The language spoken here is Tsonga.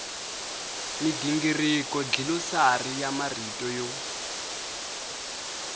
migingiriko dlilosari ya marito yo